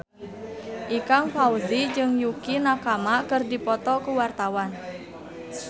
Ikang Fawzi jeung Yukie Nakama keur dipoto ku wartawan